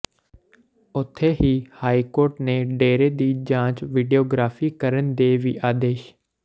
ਉਥੇ ਹੀ ਹਾਈਕੋਰਟ ਨੇ ਡੇਰੇ ਦੀ ਜਾਂਚ ਵੀਡੀਓਗ੍ਰਾਫੀ ਕਰਨ ਦੇ ਵੀ ਆਦੇਸ਼